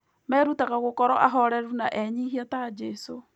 Merutaga gũkorũo ahooreri na enyihia ta Jesũ.